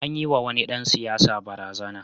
An yiwa wani dan siyasa barazana.